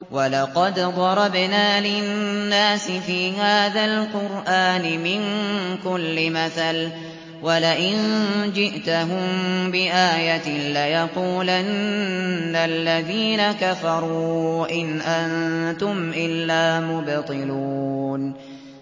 وَلَقَدْ ضَرَبْنَا لِلنَّاسِ فِي هَٰذَا الْقُرْآنِ مِن كُلِّ مَثَلٍ ۚ وَلَئِن جِئْتَهُم بِآيَةٍ لَّيَقُولَنَّ الَّذِينَ كَفَرُوا إِنْ أَنتُمْ إِلَّا مُبْطِلُونَ